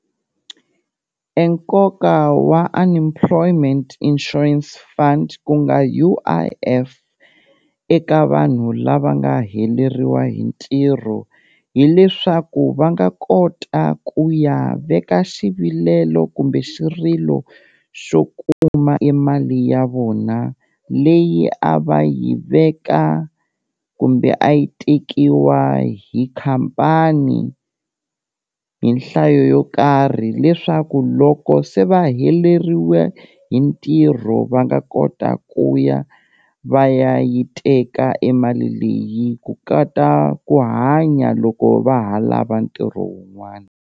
E nkoka wa unemployment insurance fund ku nga U_I_F eka vanhu lava nga heleriwa hi ntirho, hileswaku va nga kota ku ya veka xivilelo kumbe xirilo xo kuma e mali ya vona leyi a va yi veka kumbe a yi tekiwa hi khampani, hi nhlayo yo karhi leswaku loko se va heleriwe hi ntirho va nga kota ku ya va ya yi teka e mali leyi ku ku hanya loko va ha lava ntirho wun'wana.